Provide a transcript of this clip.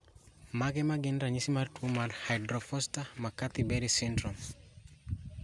Mage magin ranyisi mag tuo mar Hyde Forster Mccarthy Berry syndrome?